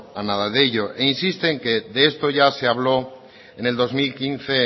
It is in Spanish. a nada de ello insiste en que de esto ya se habló en el dos mil quince